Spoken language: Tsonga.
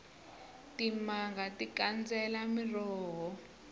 timanga ti kandzela miroho